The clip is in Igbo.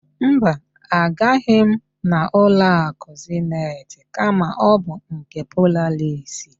Mba, agaghị m n' ụlọakụ Zenit kama ọ bụ nke Polaris.